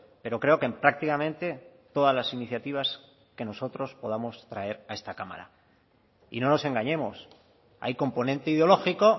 pero creo que en prácticamente todas las iniciativas que nosotros podamos traer a esta cámara y no nos engañemos hay componente ideológico